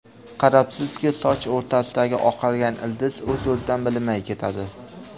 Qarabsizki, soch orasidagi oqargan ildiz o‘z-o‘zidan bilinmay ketadi.